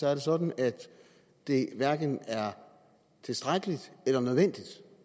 er sådan at det hverken er tilstrækkeligt eller nødvendigt